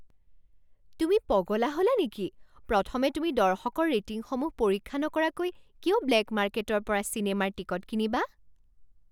তুমি পগলা হ'লা নেকি? প্ৰথমে তুমি দৰ্শকৰ ৰেটিংসমূহ পৰীক্ষা নকৰাকৈ কিয় ব্লেক মাৰ্কেটৰ পৰা চিনেমাৰ টিকট কিনিবা?